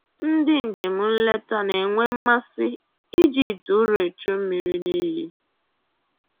Ndị njem nleta na-enwe mmasị iji ite ụrọ echu mmiri n'iyi